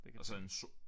Det kan